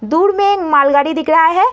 दूर में एक मालगाड़ी दिख रहा है।